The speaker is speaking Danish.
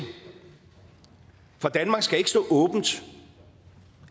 for danmark skal ikke stå åbent